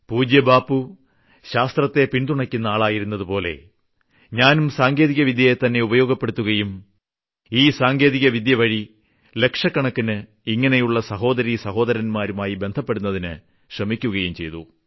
പൂജ്യ ബാപ്പു ശാസ്ത്രത്തെ പിന്തുണയ്ക്കുന്ന ആളായിരുന്നതുപോലെ ഞാനും സാങ്കേതികവിദ്യയെ തന്നെ ഉപയോഗപ്പെടുത്തുകയും ഈ സാങ്കേതികവിദ്യ വഴി ലക്ഷക്കണക്കിന് ഇങ്ങനെയുള്ള സഹോദരീസഹോദരന്മാരുമായി ബന്ധപ്പെടുന്നതിന് ശ്രമിക്കുകയും ചെയ്തു